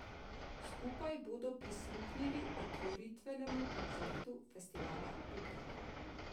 Skupaj bodo prisluhnili otvoritvenemu koncertu Festivala Ljubljana.